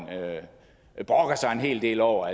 brokker sig en hel del over